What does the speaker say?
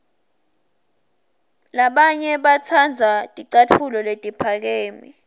labanye batsandza ticatfulo letiphakeme